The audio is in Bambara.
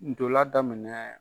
N'tola daminɛ !